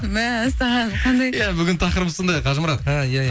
мәссаған қандай иә бүгін тақырып сондай қажымұрат а иә иә